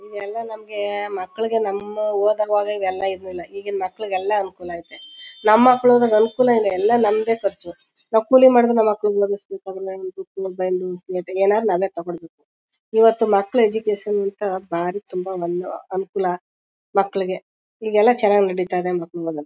ಇದೆಲ್ಲ ನಮಗೆ ಮಕ್ಳುಗೆ ನಮ್ಮ್ ಓದೋವಾಗ ಇದೆಲ್ಲ ಇರ್ಲಿಲ್ಲ ಈಗಿನ್ ಮಕ್ಳುಗೆ ಎಲ್ಲ ಅನುಕೂಲ ಇದೆ ನಮ್ ಮಕ್ಳುದು ಅನುಕೂಲ ಏನು ಎಲ್ಲ ನಮ್ದೇ ಖರ್ಚು ನಾವ್ ಕೂಲಿ ಮಾಡುದ್ರು ನಮ್ ಮಕ್ಳುಗ್ ಓದುಸ್ಬೇಕು ಬುಕ್ಸ್ ಬೈಂಡಿಂಗ್ ಶೀಟ್ ಗೆ ಎಲ್ಲ ತಗೋಬೇಕು ಇವತ್ ಮಕ್ಳು ಎಜುಕೇಶನ್ ಭಾರಿ ತುಂಬಾ ಒಂದ್ ಅನುಕೂಲ ಮಕ್ಳುಗೆ ಈಗೆಲ್ಲ ಚನ್ನಾಗ್ ನಡೀತಾ ಇದೆ ಮಕ್ಳು ಓದಕ್ಕೆ.